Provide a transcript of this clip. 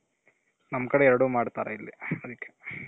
ನಮ್ ಕಡೆ ಎರಡು ಮಾಡ್ತಾರೆ ಇಲ್ಲಿ ಅದಕ್ಕೆ.